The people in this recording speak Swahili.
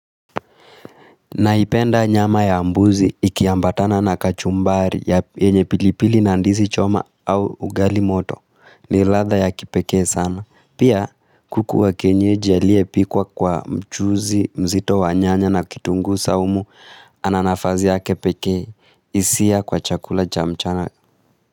Naipenda nyama ya mbuzi ikiyambatana na kachumbari ya enye pilipili na ndizi choma au ugali moto ni ladha ya kipeke sana. Pia kuku wa kienyeji aliyepikwa kwa mchuzi mzito wa nyanya na kitungu saumu ananafazi ya kepeke isia kwa chakula cha mchana.